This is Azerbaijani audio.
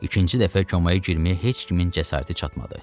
İkinci dəfə komaya girməyə heç kimin cəsarəti çatmadı.